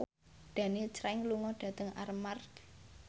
Daniel Craig lunga dhateng Armargh